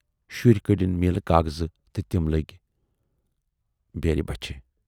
شُرۍ کٔڈٕنۍ میٖلہِ کاغذٕ تہٕ تِم لٔگۍ بیرِ بچھِ۔